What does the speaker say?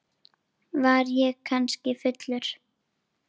Var ég kannski fullur?